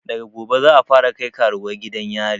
Daga gobe zamu fara kai karuwai gidan yari